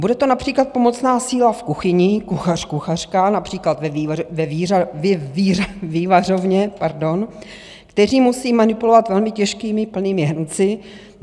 Bude to například pomocná síla v kuchyni, kuchař, kuchařka, například ve vývařovně, kteří musí manipulovat velmi těžkými plnými hrnci?